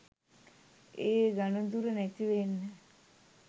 ඒ ඝණදුර නැතිවෙන්න